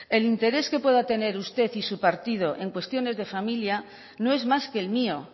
el interés que pueda tener usted y su partido en cuestiones de familia no es más que el mío